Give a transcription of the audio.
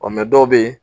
dɔw bɛ yen